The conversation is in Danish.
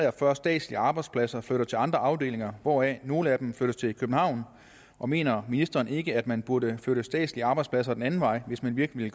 og fyrre statslige arbejdspladser flytter til andre afdelinger hvoraf nogle af dem flyttes til københavn og mener ministeren ikke at man burde flytte statslige arbejdspladser den anden vej hvis man virkelig